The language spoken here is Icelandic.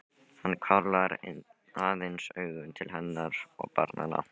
Hann hvarflar aðeins augum til hennar og barnanna.